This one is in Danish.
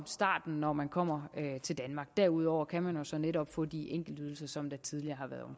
starten når man kommer til danmark derudover kan man jo så netop få de enkeltydelser som tidligere